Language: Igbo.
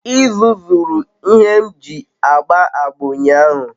Izu zuru ihe m ji agba agba unyahu